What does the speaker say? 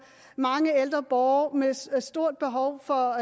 mange ældre borgere med stort stort behov for